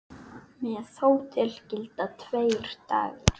Með hótel gilda tveir dagar.